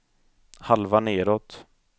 halva nedåt